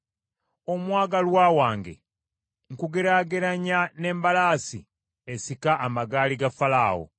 Omwagalwa wange, nkugeraageranya n’embalaasi esika amagaali ga Falaawo.